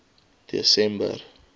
desember